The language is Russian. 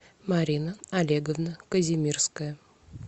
марина олеговна казимирская